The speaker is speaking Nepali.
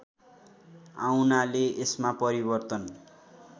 आउनाले यसमा परिवर्तन